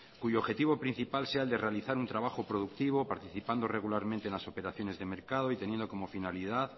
cuyo objetivo principal sea el de realizar un trabajo productivo participando regularmente en las operaciones de mercado y teniendo como finalidad